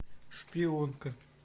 шпионка